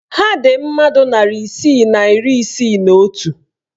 Ha dị mmadụ narị isii na iri isii na otu?